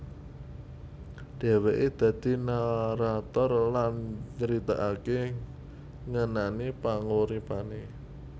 Dheweke dadi narator lan nyritakake ngenani panguripane